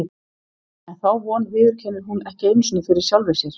En þá von viðurkennir hún ekki einu sinni fyrir sjálfri sér.